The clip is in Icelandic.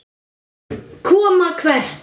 Koma hvert?